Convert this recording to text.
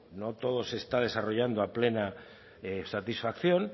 no todo se está desarrollando a plena satisfacción